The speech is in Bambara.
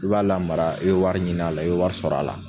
I b'a lamara i be wari ɲini la, i be wari sɔrɔ a la